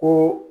Ko